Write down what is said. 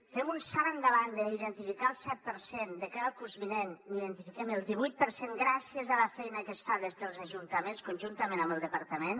fem un salt endavant d’identificar ne el set per cent de cara al curs vinent n’identifiquem el divuit per cent gràcies a la feina que es fa des dels ajuntaments conjuntament amb el departament